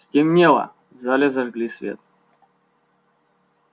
стемнело в зале зажгли свет